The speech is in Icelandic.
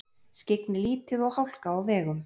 Skyggni lítið og hálka á vegum